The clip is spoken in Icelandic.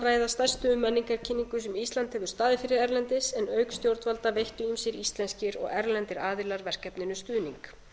ræða stærstu menningarkynningu sem ísland hefur staðið fyrir erlendis en auk stjórnvalda veittu ýmsir íslenskir og erlendir aðilar verkefninu stuðning